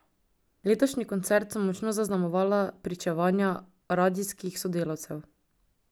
Letošnji koncert so močno zaznamovala pričevanja radijskih sodelavcev.